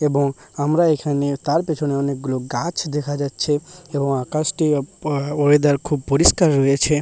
এবং আমরা এখানে তার পেছনে অনেকগুলো গাছ দেখা যাচ্ছে এবং আকাশটি ও আ ওয়েদার খুব পরিষ্কার রয়েছে।